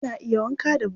Ana iya wanka da buta.